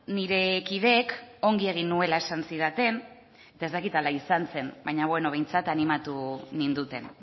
nire kideek ongi egin nuela esan zidaten eta ez dakit hala izan zen baina behintzat animatu ninduten